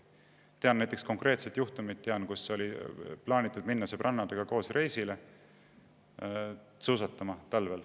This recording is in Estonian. Tean konkreetset juhtumit, kus oli plaanitud minna sõbrannadega reisile, talvel suusatama.